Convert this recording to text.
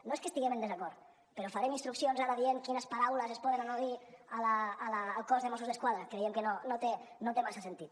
no és que hi estiguem en desacord però farem instruccions ara dient quines paraules es poden o no dir al cos de mossos d’esquadra creiem que no té massa sentit